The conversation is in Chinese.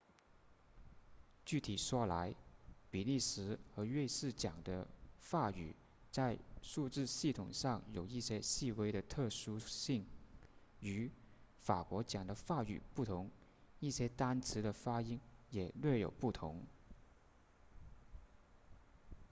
具体说来比利时和瑞士讲的法语在数字系统上有一些细微的特殊性与法国讲的法语不同一些单词的发音也略有不同